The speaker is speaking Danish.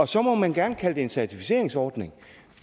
så må man gerne kalde det en certificeringsordning